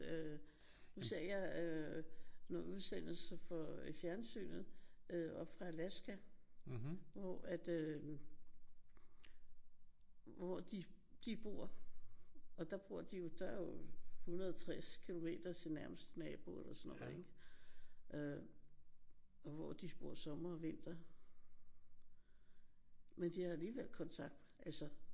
Øh nu ser jeg øh nogle udsendelser fra fjernsynet øh oppe fra Alaska hvor at øh hvor de de bor og der bor de jo der er jo 160 kilometer til den nærmeste nabo eller sådan noget ik? Øh og hvor de bor sommer og vinter. Men de har alligevel kontakt altså